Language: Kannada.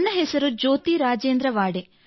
ನನ್ನ ಹೆಸರು ಜ್ಯೋತಿ ರಾಜೇಂದ್ರ ವಾಡೆ